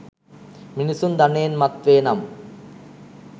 මිනිසුන් ධනයෙන් මත්වේ නම්